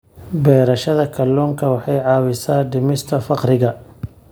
Beerashada kalluunka waxay caawisaa dhimista faqriga.